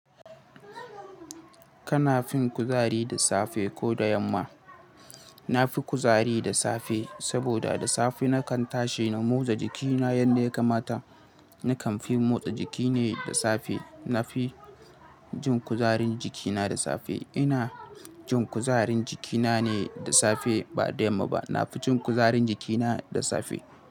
Kana fin kuzari da safe ko da yamma? Na fi kuzari da safe saboda da safe na kan tashi na motsa jikina yadda ya kamata. Nakan fi motsa jiki ne da safe. Na fi jin kuzarin jikina da safe. Ina jin kuzarin jikina ne da safe ba da yamma ba. Na fi jin kuzarin jikina da safe.